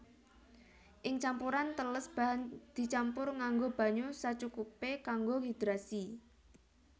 Ing campuran teles bahan dicampur nganggo banyu sacukupé kanggo hidrasi